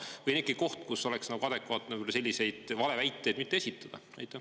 Või see on äkki koht, kus oleks adekvaatne selliseid valeväiteid mitte esitada?